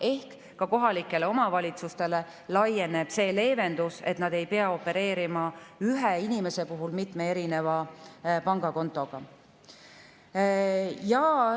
Ehk ka kohalikele omavalitsustele laieneb see leevendus, et nad ei pea opereerima ühe inimese puhul mitme pangakontoga.